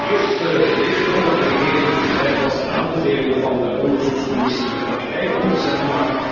Eerst leek het erop dat de regering bereid was de aanbevelingen van de onderzoekscommissie in de praktijk om te zetten.